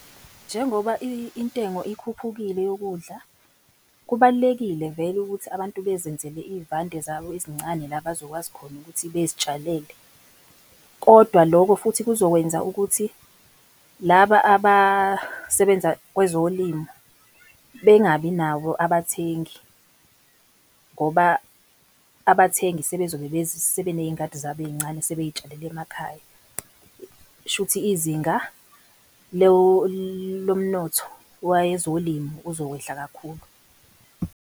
Njengoba intengo ikhuphukile yokudla, kubalulekile vele ukuthi abantu bezenzele i'vande zabo ezincane la abazokwazi khona ukuthi bazitshalele. Kodwa lokho futhi kuzokwenza ukuthi laba abasebenza kwezolimo bengabi nabo abathengi, ngoba abathengi sebezobe sebeney'ngadi zabo ey'ncane sebey'tshalela emakhaya. Shuthi izinga lo mnotho wezolimo uzokwehla kakhulu.